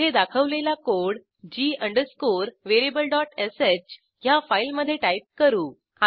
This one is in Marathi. येथे दाखवलेला कोड g अंडरस्कोरvariablesh ह्या फाईलमधे टाईप करू